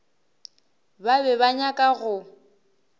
ba be ba nyaka go